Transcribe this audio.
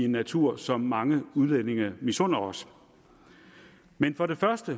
natur som mange udlændinge misunder os men for det første